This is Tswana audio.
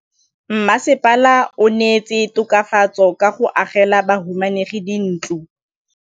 Mmasepala o neetse tokafatsô ka go agela bahumanegi dintlo.